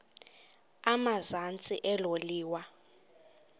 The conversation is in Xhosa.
emazantsi elo liwa